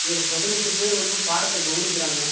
இதுல பதினெட்டு பேர் வந்து பாடத்த கவனிக்குறாங்க.